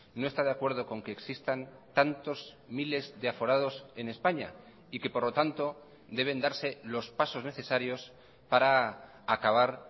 no está de acuerdo con que existan tantos miles de aforados en españa y que por lo tanto deben darse los pasos necesarios para acabar